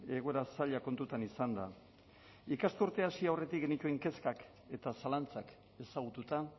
egoera zaila kontutan izanda ikasturtea hasi aurretik genituen kezkak eta zalantzak ezagututa